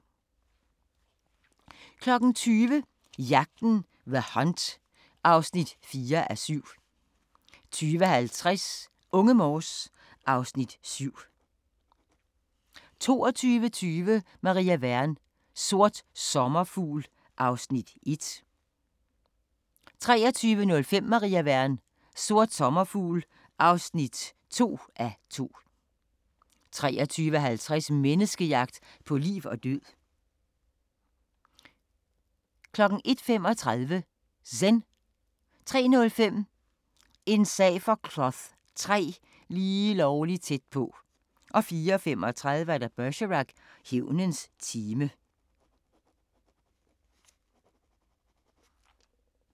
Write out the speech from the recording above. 20:00: Jagten – The Hunt (4:7) 20:50: Unge Morse (Afs. 7) 22:20: Maria Wern: Sort sommerfugl (1:2) 23:05: Maria Wern: Sort sommerfugl (2:2) 23:50: Menneskejagt på liv og død 01:35: Zen 03:05: En sag for Cloth III: Lige lovlig tæt på 04:35: Bergerac: Hævnens time